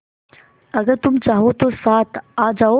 अगर तुम चाहो तो साथ आ जाओ